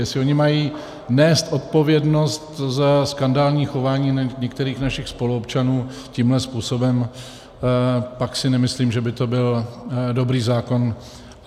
Jestli oni mají nést odpovědnost za skandální chování některých našich spoluobčanů tímto způsobem, pak si nemyslím, že by to byl dobrý zákon.